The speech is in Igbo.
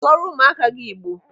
Sụọrọ ụmụaka gị Igbo!